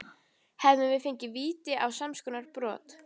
Hefðum við fengið víti á samskonar brot?